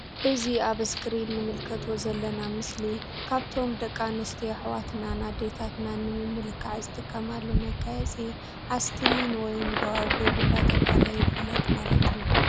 እዚ አብ እስክሪን እንምልከቶ ዘለና ምስሊ ካብቶም ደቂ አንስትዮ አሕዋትና አዲታትና ንምምልካዕ ዝጥቀማሉ መጋየፂ አስተሊኒ ወይም ጎዋግብ እንዳተብሃለ ይፍለጥ ማለት እዩ::